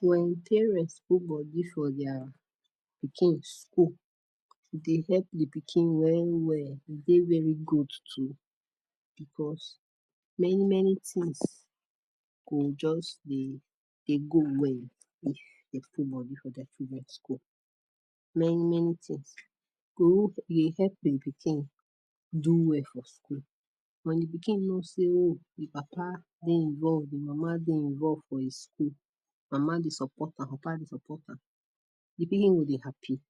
For their pikin school fit dey help di pikin well well e dey very good too because many many things go just dey well Many many things go help di pikin do well for school wen di pikin no say e Papa dey involve e mama dey involve for him school mama dey support am Papa dey support am the Will be happy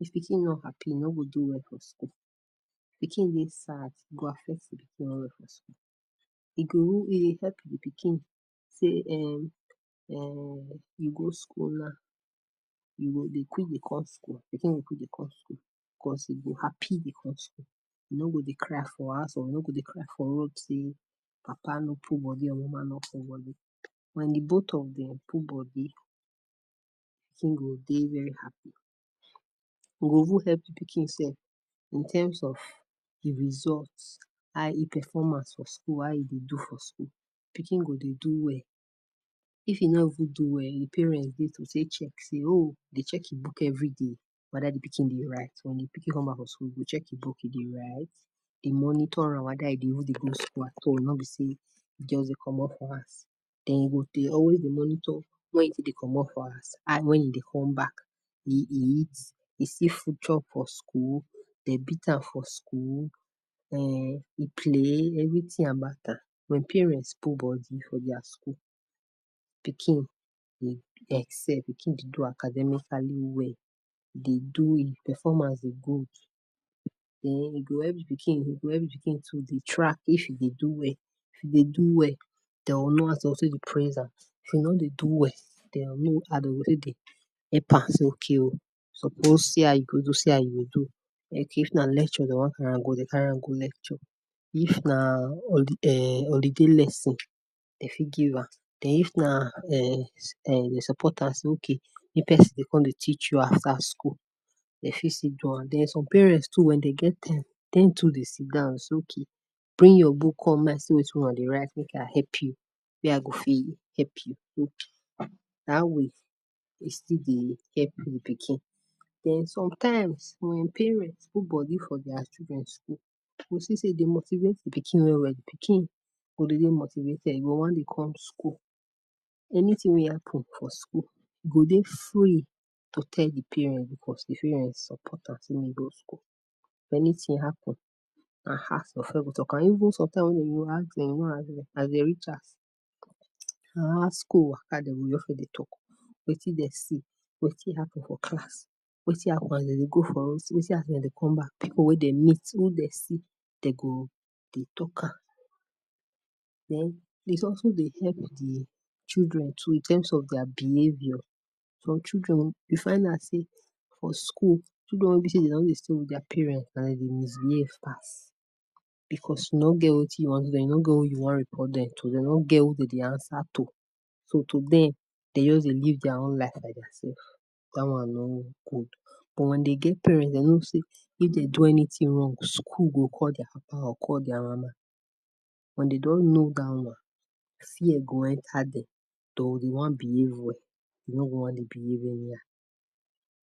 cause if pikin no dey happy e no go do well for school pikin dey sad e go fit his Help di pikin say um e go school now e go dey quick dey curse school pikin dey quick to curse school cause he go happy e curse school e no go dey cry for house e no go dey cry for road say Papa no put body or mama no put body wen di both of Dem put body everything go dey very happy e go even help di pikin self in terms of results high performance for school how e dey do for school pikin go dey do well if e no do well hin parent go dey check hin book everyday wer di pikin dey write wen di pikin come back from school go check hin book dey write dey monitor am whether e dey even dey go school at all no be say e just dey comot for house Dem go dey always dey monitor wen e dey comot for house and wen e dey come back Future for school Dem dey beat am e play everything nah matter wen parent put body for school pikin dey do academically well dey do e performance dey good den e go help di pikin to dey try track If e dey do well if e dey do well Praise am Help am Supposed how e go do how e go say if na lecture dey wan carry am go dey carry am go lecture if na holiday lesson dey fit give am den if nah um den support if person con dey teach you after school dey fit still do am den some parent too wen dey get time Dem to dey sit say okay bring your book con make I see wetin una dey write make I help you wey I go fit help you Still dey help e pikin sometimes wen parent put body for children school e go see say e dey motivate their pikin well well pikin go feel motivated e go wan dey come school anything wey happen for school e go dey fully to tell his parents because di parents support am go school anything happen Wetin dem see wetin happen for class wetin happen wen dem dey go for road wetin happen wen dem dey come back, people dey meet who dey see dey go dey talk am Den it also dey help children too in terms of their behavior for children o di final say for school o children wey be say Dem no dey stay with parents na hin dey misbehave pass e no get wetin you wan do wetin you wan report Dem too Dem no get who dey answer to so to them dey just live their own life like dat one no good but when dey get parents dah one go no say if dey do anything wrong school go no say school go call their Papa or call their mama wen dem don know dat one fear go enter dem to wan behave well to wan dey behave very well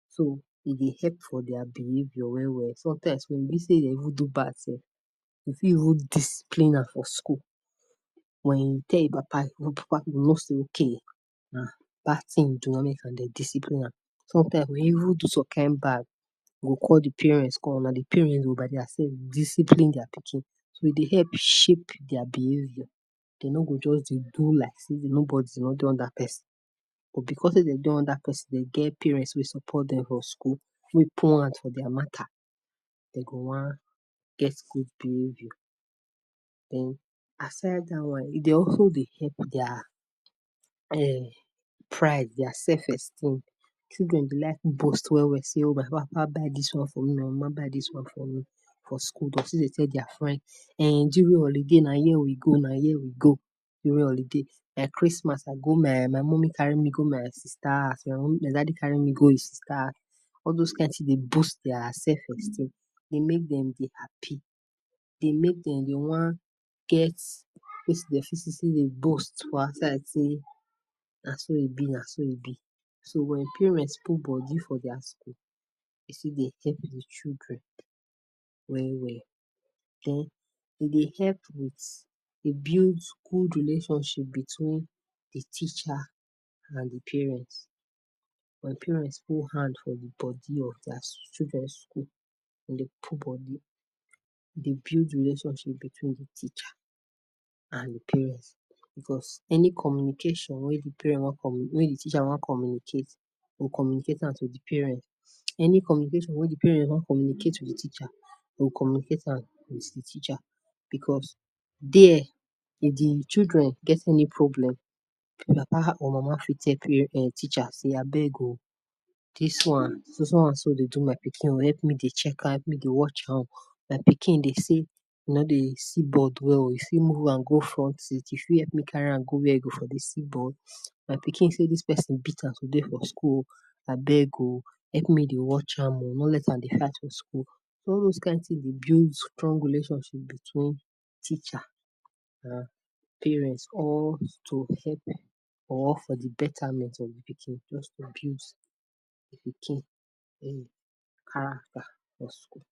so e dey help for their behavior well well sometimes wen be say dey do bad things you fit hold dis For school wen you tell your Papa your Papa go no say na bad thing hin do make Dem dey discipline am sometimes e go even do Bad e go call di parents una di parents by their self discipline their pikin e go help shape their behavior dey no go just dey do like say dem no dey under person Wey support Dem for school wey put hands for their matter Dem go wan get good behavior den aside dat one their Uncle dey help their um pride their self esteem children be like Well well go say papa buy dis one for me my mama buy dis one for me for school go still dey tell their parents um during holiday o nah here we go o nah here we go during holiday by Christmas I go my my Mummy carry me go my sister my daddy carry me go his sister all those kain dey boost their self esteem dey make Dem dey happy dey make Dem dey wan get Na so e be na so e be so wen parents put body for their school it tu dey help di children well well den e dey with dey build school relationship between di teacher and di parents and parents put hand for di body of thier children school dey put body dey build relationship between di teacher and di parents because any communication wey di teacher wan communicate will communicate am to di parents any communication wey di parents wan communicate with di teacher will communicate am with di teacher because there di children getting problem Papa/mama fit check di teacher say abeg o dis one naso e dey do my pikin o help dey check am help me dey try dey watch am my pikin dey say e no dey see board well o if e move am go front, you fit help Carry go wer e go dey see board my pikin say dis person beat am today for school o abeg o help me dey watch am o don let hand dey For school all those Kain thing dey build strong relationships between Teacher and Parents to help or for the betterment of di pikin just to build di pikin di pikin character for school